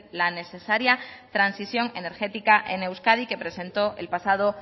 la necesaria transición energética en euskadi que presentó el pasado